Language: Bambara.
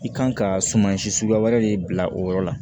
I kan ka sumasi suguya wɛrɛ de bila o yɔrɔ la